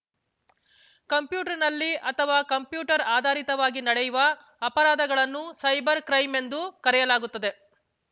ಕಂಪ್ಯೂಟರ್‌ನಲ್ಲಿ ಅಥವಾ ಕಂಪ್ಯೂಟರ್‌ ಆಧಾರಿತವಾಗಿ ನಡೆಯುವ ಅಪರಾಧಗಳನ್ನು ಸೈಬರ್‌ ಕ್ರೈಂ ಎಂದು ಕರೆಯಲಾಗುತ್ತದೆ